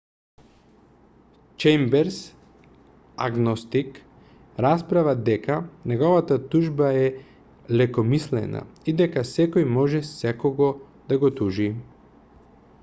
чејмберс агностик расправа дека неговата тужба е лекомислена и дека секој може секого да го тужи